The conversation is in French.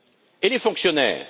Et les fonctionnaires?